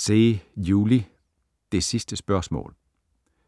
Zeh, Juli: Det sidste spørgsmål